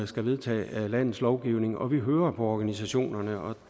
skal vedtage landets lovgivning og vi hører på organisationerne og